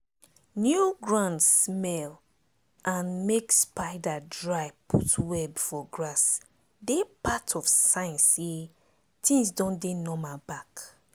new ground smell and make spider dry put web for grass dey part of sign say things don dey normal back.